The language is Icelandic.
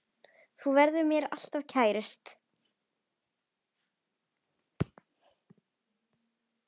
Þú verður mér alltaf kærust.